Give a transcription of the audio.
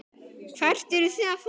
Hvert eruð þið að fara?